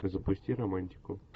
ты запусти романтику